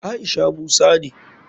Aisha musa ne.